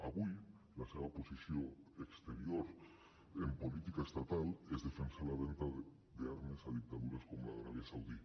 avui la seva posició exterior en política estatal és defensar la venda d’armes a dictadures com la d’aràbia saudita